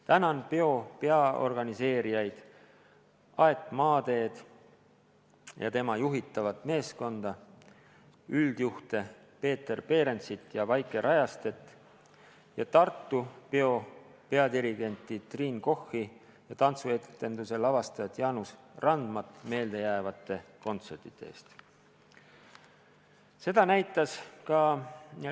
Tänan peo peaorganiseerijaid Aet Maateed ja tema juhitud meeskonda, üldjuhte Peeter Perensit ja Vaike Rajastet ning Tartu peo peadirigenti Triin Kochi ja tantsuetenduse lavastajat Jaanus Randmat meeldejäävate kontsertide eest!